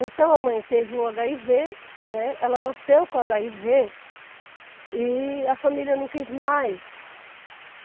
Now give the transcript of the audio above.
Então a mãe teve o agáivê, ela nasceu com agáivê, e a família não quis mais.